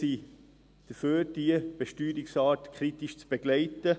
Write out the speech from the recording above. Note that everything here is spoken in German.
Wir sind dafür, diese Steuerart kritisch zu begleiten.